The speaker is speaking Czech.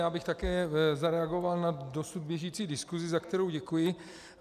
Já bych také zareagoval na dosud běžící diskuzi, za kterou děkuji.